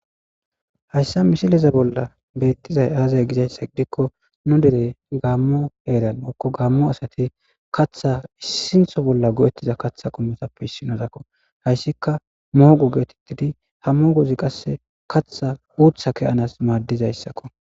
Hayssa misiliza bolla beettizay aazay gizayssa gidikko nu dere gaammo heeran okko gaammo asati katha issintho bolla go'ettiza katha qometappe issinodakko hayssika mogo geetettidi ha moogozi qasse katha uutha keyanas maaddizayssakko.